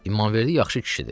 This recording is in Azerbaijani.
İmanverdi yaxşı kişidir.